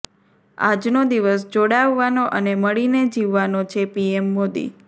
આજનો દિવસ જોડાવવાનો અને મળીને જીવવાનો છેઃ પીએમ મોદી